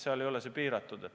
See ei ole piiratud.